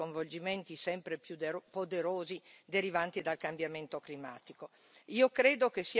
e, dall'altro, dagli sconvolgimenti sempre più poderosi derivanti dal cambiamento climatico.